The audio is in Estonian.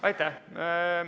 Aitäh!